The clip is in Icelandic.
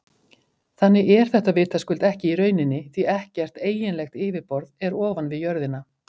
Þannig er þetta vitaskuld ekki í rauninni því ekkert eiginlegt yfirborð er ofan við jörðina.